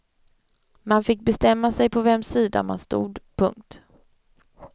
Man fick bestämma sig på vems sida man stod. punkt